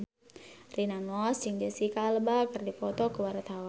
Rina Nose jeung Jesicca Alba keur dipoto ku wartawan